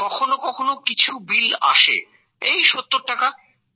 কখনো কখনো কিছু বিল আসে এই ৭০টাকা